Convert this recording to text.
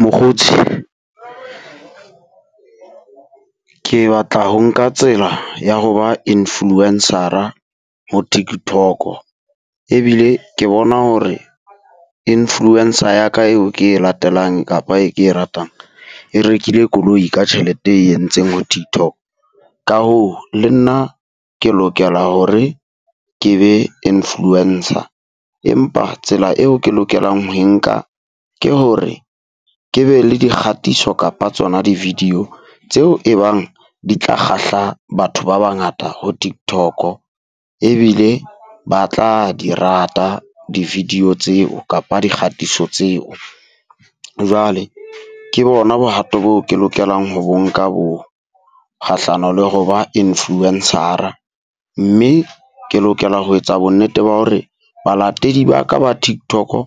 Mokgotsi, Ke batla ho nka tsela ya ho ba influence-ra ho tiktok-o. Ebile ke bona hore influence-a ya ka eo ke e latelang kapa e ke ratang e rekile koloi ka tjhelete e entseng ho . Ka hoo le nna ke lokela hore ke be influence-a. Empa tsela eo ke lokelang ho e nka ke hore ke be le dikgatiso kapa tsona di-video tseo e bang di tla kgahla batho ba bangata ho TikTok-o. Ebile ba tla di rata di-video tseo kapa dikgatiso tseo. Jwale ke bona bohato bo ke lokelang ho bo nka boo kgahlano le ho ba influence-ara. Mme ke lokela ho etsa bonnete ba hore balatedi ba ka ba TikTok-o